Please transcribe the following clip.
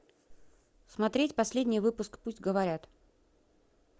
смотреть последний выпуск пусть говорят